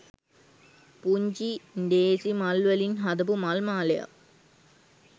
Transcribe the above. පුංචි ඬේසි මල් වලින් හදපු මල් මාලයක්.